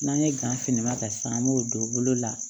N'an ye gan filiman ta sisan an b'o don bolo la